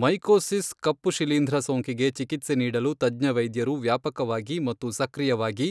mycosis ಕಪ್ಪು ಶಿಲೀಂಧ್ರ ಸೋಂಕಿಗೆ ಚಿಕಿತ್ಸೆ ನೀಡಲು ತಜ್ಞವೈದ್ಯರು ವ್ಯಾಪಕವಾಗಿ ಮತ್ತು ಸಕ್ರಿಯವಾಗಿ